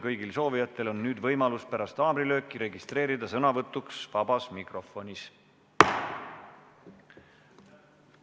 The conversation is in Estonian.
Kõigil soovijatel on nüüd võimalus pärast haamrilööki registreeruda sõnavõtuks vabas mikrofonis.